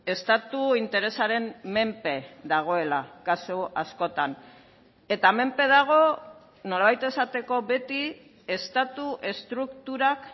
estatu interesaren menpe dagoela kasu askotan eta menpe dago nolabait esateko beti estatu estrukturak